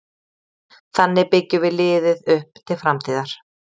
Þannig byggjum við liðið upp til framtíðar.